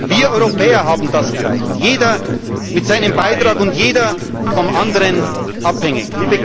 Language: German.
Wir Europäer haben das erreicht, jeder mit seinem Beitrag und jeder vom anderen abhängig.